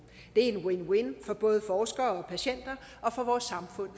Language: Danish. det er en win win for både forskere og patienter og for vores samfund